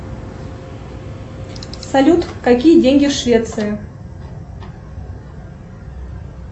салют какие деньги в швеции